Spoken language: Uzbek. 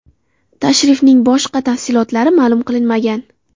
Tashrifning boshqa tafsilotlari ma’lum qilinmagan.